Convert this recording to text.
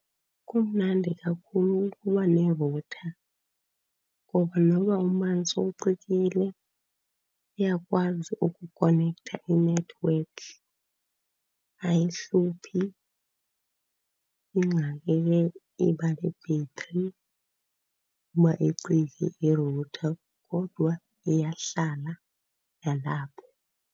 Kumnandi kakhulu ukuba nerutha ngoba noba umbani sowucikile iyakwazi ukukonektha inethiwekhi, ayihluphi. Ingxaki ke iba yi-battery uba icike irutha, kodwa iyahlala nalapho.